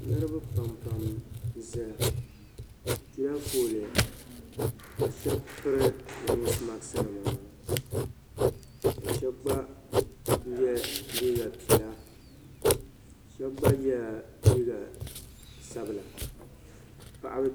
Niriba pam pam n zaya bi piɛla foolii ka shɛba piri noosi maks nima ka shɛba gba yɛ liiga piɛla shɛba gba yɛla liiga sabila.